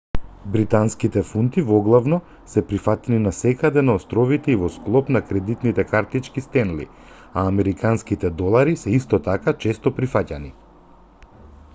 британските фунти воглавно се прифатени насекаде на островите и во склоп на кредитните картички стенли а е американските долари се исто така често прифаќани